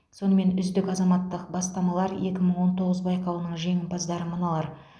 сонымен үздік азаматтық бастамалар екі мың он тоғыз байқауының жеңімпаздары мыналар